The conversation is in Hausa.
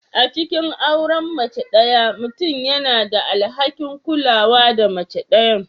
A cikin auren mace ɗaya, mutum yana da alhakin kula da mace ɗayan.